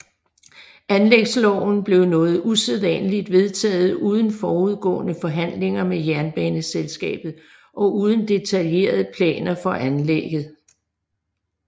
Anlægsloven blev noget usædvanligt vedtaget uden forudgående forhandlinger med jernbaneselskabet og uden detaljerede planer for anlægget